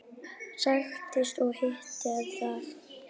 Sigtið og hitið ef þarf.